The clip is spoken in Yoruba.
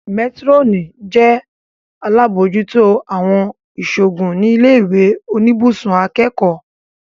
Métírọ́nì jẹ́ alábòójútó àwọn ìṣòògùn ní ilé ìwé oníbùsùn akẹ́kọ̀ọ́